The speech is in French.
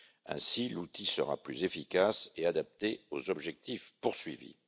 Ainsi l'outil sera plus efficace et adapté aux objectifs poursuivis.